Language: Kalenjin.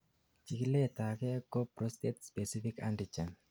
chikiletage ko prostate specific antigen